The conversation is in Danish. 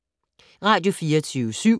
Radio24syv